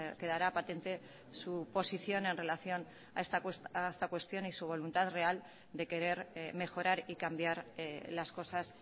quedará patente su posición en relación a esta cuestión y su voluntad real de querer mejorar y cambiar las cosas